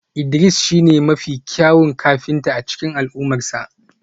Idris shine mafi kyawun kafinta a cikin al'ummarsa